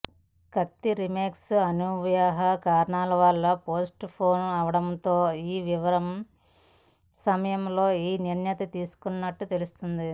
కత్తి రీమేక్ అనివార్య కారణాల వల్ల పోస్ట్ పోన్ అవడంతో ఈ విరామ సమయంలో ఈ నిర్ణయం తీసుకున్నట్టు తెలుస్తుంది